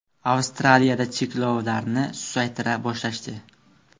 Avstraliyada cheklovlarni susaytira boshlashdi.